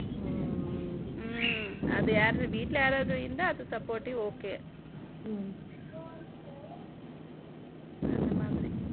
ம்ம ம்ம அதுயார் வீட்ல யாராவது இருந்தா அது supportive okay அந்த மாதிரி